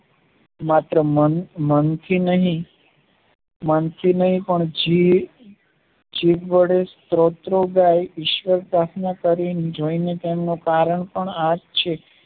માત્ર મન થી નહિ મન થી નહિ પણ જીભ વડે સ્તોત્રો ગાય ઈશ્વર ને પ્રાર્થના કરીં જોયીને તેમનું કારણ પણ આ જ છે